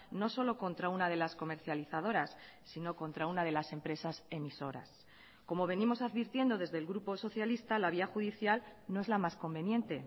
no solo contra una de las comercializadoras sino contra una de las empresas emisoras como venimos advirtiendo desde el grupo socialista la vía judicial no es la más conveniente